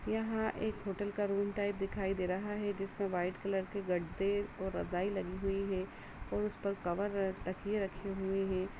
यहाँ एक होटल के रूम टाइप दिखाई दे रहा है जिसमें व्हाइट कलर के गद्दे और रजाई लगी हुई है उस पर कवर तकिए रखे हुए है।